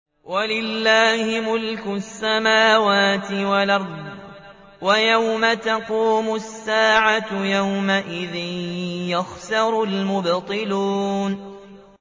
وَلِلَّهِ مُلْكُ السَّمَاوَاتِ وَالْأَرْضِ ۚ وَيَوْمَ تَقُومُ السَّاعَةُ يَوْمَئِذٍ يَخْسَرُ الْمُبْطِلُونَ